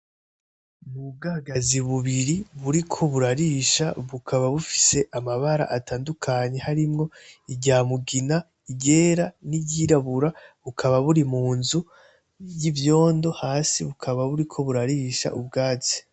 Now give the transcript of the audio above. Nubwagazi bubiri buriko burarisha bukaba bufise amabara atandukanye harimwo irya mugina, iryera n'iryirabura bukaba buri mu nzu y'ivyondo hasi bukaba buriko burarisha ubwatsi.